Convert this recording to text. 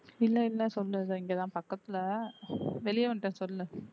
இல்லை இல்லை சொல்லு இதோ இங்கதான் பக்கத்துல வெளிய வந்துட்டேன் சொல்லு